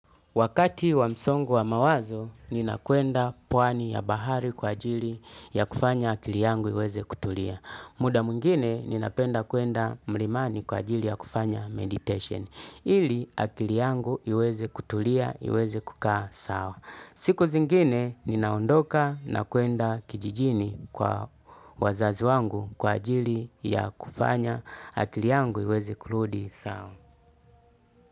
Wakati wa msongo wa mawazo, nina kwenda pwani ya bahari kwa ajili ya kufanya akili yangu iweze kutulia. Muda mwngine, ninapenda kwenda mlimani kwa ajili ya kufanya meditation. Ili, akili yangu iweze kutulia, iweze kukaa sawa. Siku zingine, ninaondoka na kwenda kijijini kwa wazazi wangu kwa ajili ya kufanya akili yangu iweze kuruudi sawa.